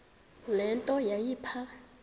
le nto yayipha